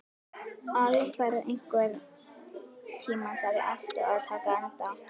Alfreð, einhvern tímann þarf allt að taka enda.